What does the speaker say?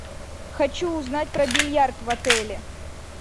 хочу узнать про бильярд в отеле